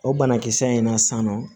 O banakisɛ in na san nɔ